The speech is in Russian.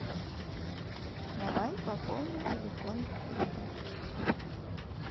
давай пополним телефон друга